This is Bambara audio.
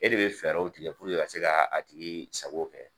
E de bɛ fɛɛrɛw tigɛ puruke ka se ka a tigi sago kɛ.